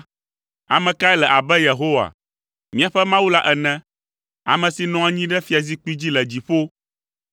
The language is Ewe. Ame kae le abe Yehowa, míaƒe Mawu la ene, ame si nɔ anyi ɖe fiazikpui dzi le dziƒo,